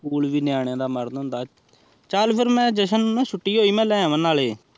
school ਵੇ ਨਿਯਾਨੇ ਦਾ ਮਾਰਨ ਹੋਂਦਾ ਚਲ ਫਿਰ ਮੈ ਜਸ਼ਨ ਨੂ ਛੁੱਟੀ ਹੋਯੀ ਮੈ ਆਵਾ ਨਾਲੇ